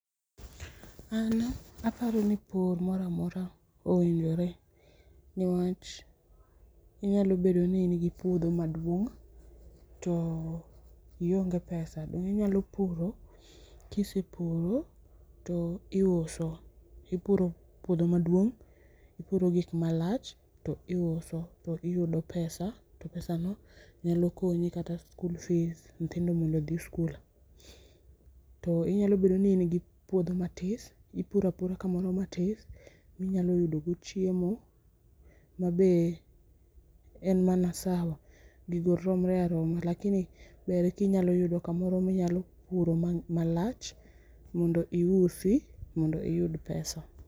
An aparoni pur moro amora owinjore newach inyalo bedo ni in gi puodho maduong to ionge pesa dong inyalo puro kisepuro to iuso, ipuro puodho maduong ipuro gik malach to iuso to iyudo pesa to pesano nyalo konyi kata skul fees nyithindo mondo odhi skul, to inyalo bedo ni in gi puodho matis ipuro apuro kamano matis minyalo yudo go chiemo mabe en mana sawa, gigo romre aroma lakini ber kinyalo yudo kamoro minyalo puro malach mondo iusi mondo iyud pesa